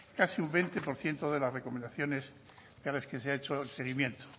casi un veinte por ciento de las recomendaciones de las que se ha hecho el seguimiento